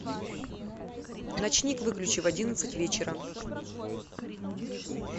ночник выключи в одиннадцать вечера